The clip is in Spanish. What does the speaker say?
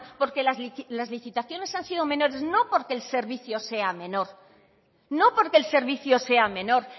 porque las licitaciones han sido menores no porque el servicio sea menor no porque el servicio sea menor